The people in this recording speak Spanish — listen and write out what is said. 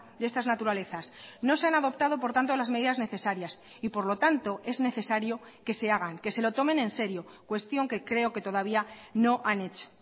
de estas naturalezas no se han adoptado por tanto las medidas necesarias y por lo tanto es necesario que se hagan que se lo tomen en serio cuestión que creo que todavía no han hecho